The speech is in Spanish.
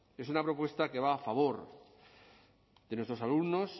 es una propuesta que va a favor de nuestros alumnos